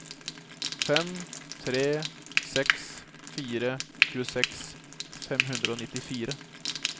fem tre seks fire tjueseks fem hundre og nittifire